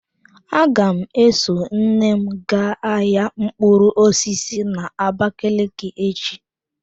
Aga m eso nne m gaa ahia mkpụrụ osisi n'abakaliki echi.